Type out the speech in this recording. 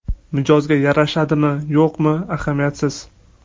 Mijozga yarashadimi, yo‘qmi, ahamiyatsiz.